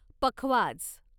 पखवाज